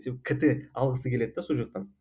себебі кт алғысы келеді де сол жақтан